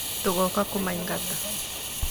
Tũgoka kũmaigata.